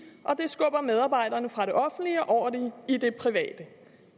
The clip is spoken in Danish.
skubber medarbejderne fra det offentlige og over i det private